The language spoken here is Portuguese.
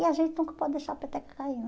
E a gente nunca pode deixar a peteca cair né.